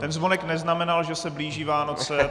Ten zvonek neznamenal, že se blíží Vánoce.